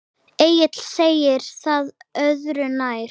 Egill segir það öðru nær.